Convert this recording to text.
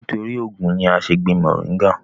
nítorí ògùn ni a ń ṣé gbin mọ̀ríngà